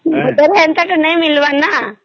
ହେନ୍ତା ତା ନାଇଁ ମିଳିବାର ନ